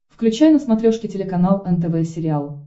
включай на смотрешке телеканал нтв сериал